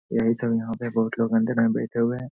यही सब यहा पे बहुत लोग गंदे टाइम बैठे हुए हैं।